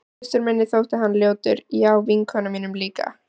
Systur minni þótti hann ljótur já og vinkonum mínum líka.